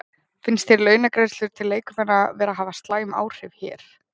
Finnst þér launagreiðslur til leikmanna vera að hafa slæm áhrif hér?